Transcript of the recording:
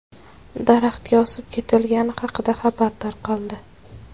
daraxtga osib ketilgani haqida xabar tarqaldi.